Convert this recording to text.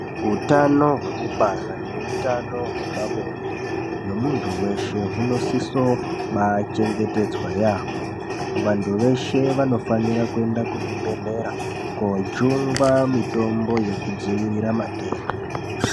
Utano hwekubara neutano hwepabonde hwemuntu veshe hunosisoba chengetedza yaamho. Vantu veshe vanofanira kwenda kuzvibhedhlera kojungwa mitombo yekudzivirira matenda.